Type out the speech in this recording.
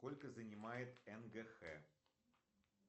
сколько занимает нгх